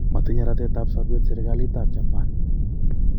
matinye ratet ap sabeet serigalit ap Japan